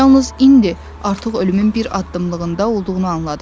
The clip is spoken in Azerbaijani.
Yalnız indi artıq ölümün bir addımlığında olduğunu anladı.